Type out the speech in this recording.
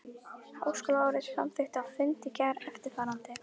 Háskólaráðið samþykkti á fundi í gær eftirfarandi